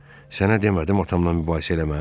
Sənə demədim atamdan mübahisə eləmə?